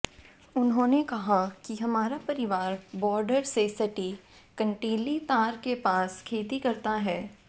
उन्होंने कहा कि हमारा परिवार बॉर्डर से सटी कंटीली तार के पास खेती करता है